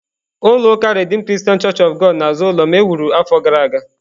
Ulọ uká redeem Christian Church of God parish n'azụ ụlọ m e wuru afọ gara aga